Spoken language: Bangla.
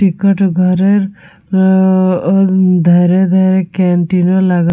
টিকিট ঘরের উম ধারে ধারে ক্যান্টিন ও লাগা--